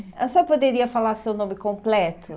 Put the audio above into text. A senhora poderia falar seu nome completo?